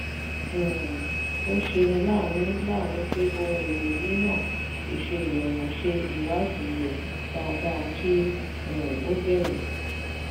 um ó ṣeni láàánú láàánú pé ohun èlò yíyan ò ṣe rọrùn ṣe ìwádìí rẹ dáadáa kí um o bẹ̀rẹ̀.